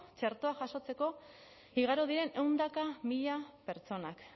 txertoa jasotzeko igaro diren ehundaka mila pertsonak